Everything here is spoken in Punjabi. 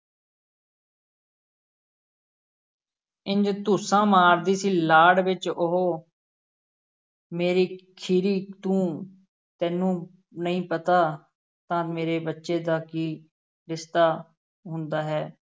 ਇੰਞ ਧੁੱਸਾਂ ਮਾਰਦੀ ਸੀ ਲਾਡ ਵਿੱਚ ਉਹ ਮੇਰੀ ਖੀਰੀ ਤੂੰ ਤੈਨੂੰ ਨਹੀਂ ਪਤਾ, ਤਾਂ ਮੇਰੇ ਬੱਚੇ ਦਾ ਕੀ ਰਿਸ਼ਤਾ ਹੁੰਦਾ ਹੈ।